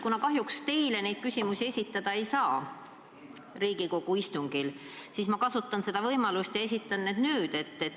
Kuna kahjuks teile neid küsimusi Riigikogu istungil esitada ei saa, siis ma kasutan võimalust ja esitan need nüüd.